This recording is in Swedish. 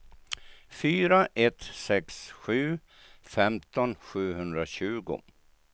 fyra ett sex sju femton sjuhundratjugo